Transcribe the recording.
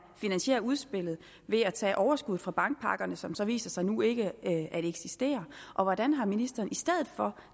finansierer udspillet ved at tage overskud fra bankpakkerne som så viser sig nu ikke at eksistere hvordan har ministeren i stedet for